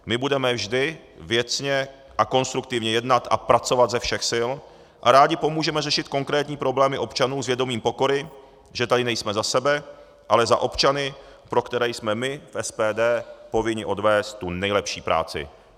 My budeme vždy věcně a konstruktivně jednat a pracovat ze všech sil a rádi pomůžeme řešit konkrétní problémy občanů s vědomím pokory, že tady nejsme za sebe, ale za občany, pro které jsme my v SPD povinni odvést tu nejlepší práci.